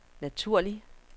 naturlig